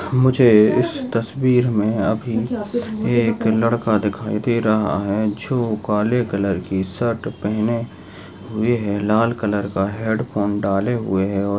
मुझे इज तसवीर मे अभि ये एक लाडका दिखाई दे रहा है जो काले कलर की शर्ट पहने हुए है लाल कलर का हैडफोन डाले हुए है और --